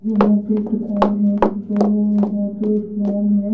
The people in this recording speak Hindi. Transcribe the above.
वहां पे एक दुकान है जो यहां पे एस नाम है।